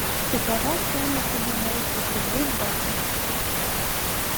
какова стоимость обмена русских рублей в баты